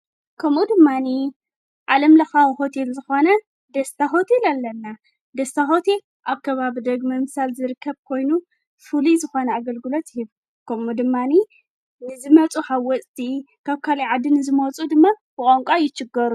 ከምኡ ድማኒ ዓለም ለኻዊ ኾቴል ዝኾነ ደስታ ሁቴል ኣለና ደስታ ሁት ኣብ ከባብ ዳግመ ኣምሳል ዝርከብ ኮይኑ ፉል ዝኾነ ኣገልግሎት ህብ ከምኡ ድማኒ ንዝመፁ ሓ ወፅቲ ካብ ካልይ ዓዲ ንዝመፁ ድመ ብቛንቋ ኣይችገሩን።